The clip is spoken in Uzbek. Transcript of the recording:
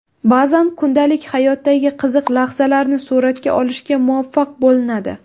Ba’zan kundalik hayotdagi qiziq lahzalarni suratga olishga muvaffaq bo‘linadi.